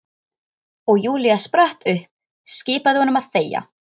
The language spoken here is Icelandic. Og Júlía spratt upp, skipaði honum að þegja.